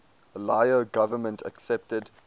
lao government accepted